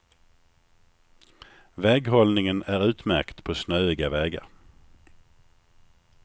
Väghållningen är utmärkt på snöiga vägar.